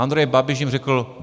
Andrej Babiš jim řekl.